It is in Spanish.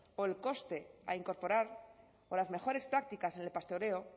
o el coste a incorporar o las mejores prácticas en el pastoreo